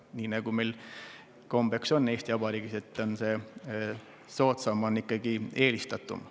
Nii nagu meil Eesti Vabariigis kombeks on, soodsam on ikkagi eelistatum.